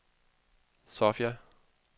Sofia